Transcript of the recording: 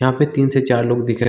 यहाँ पे तीन से चार लोग दिख रहे--